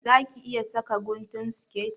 Za ki iya saka guntun siket?